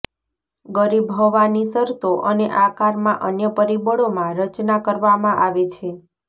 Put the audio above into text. ગરીબ હવાની શરતો અને આકારમાં અન્ય પરિબળો માં રચના કરવામાં આવે છે